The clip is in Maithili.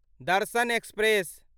दर्शन एक्सप्रेस